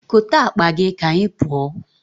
Kote akpa gị ka anyị pụọ.